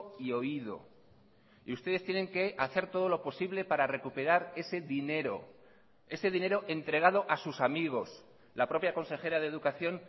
y oído y ustedes tienen que hacer todo lo posible para recuperar ese dinero ese dinero entregado a sus amigos la propia consejera de educación